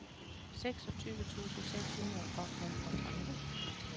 seksogtyve tusind seks hundrede og femogtredive